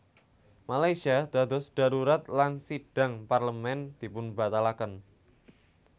Malaysia dados dharurat lan sidhang Parlemén dipunbatalaken